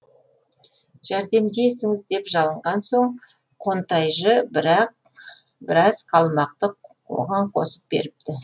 жәрдемдесіңіз деп жалынған соң қонтайжы бірақ біраз қалмақты оған қосып беріпті